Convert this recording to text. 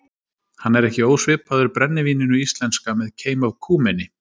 Hann er ekki ósvipaður brennivíninu íslenska með keim af kúmeni.